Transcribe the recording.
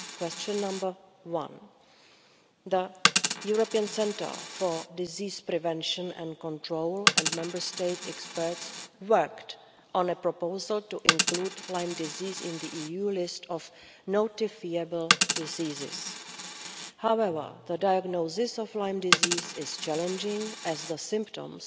Question one the European Centre for Disease Prevention and Control and Member State experts worked on a proposal to include Lyme disease on the EU list of notifiable diseases. However, the diagnosis of Lyme disease is challenging, as the symptoms